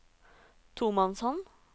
tomannshånd